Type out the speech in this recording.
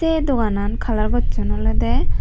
aye doganan colour gosson oledey.